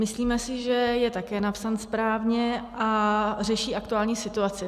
Myslíme si, že je také napsán správně a řeší aktuální situaci.